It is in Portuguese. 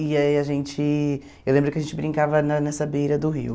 E aí a gente... Eu lembro que a gente brincava na nessa beira do rio.